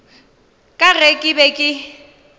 ka ge ke be ke